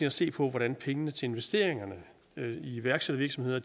at se på hvordan pengene til investeringerne i iværksættervirksomheder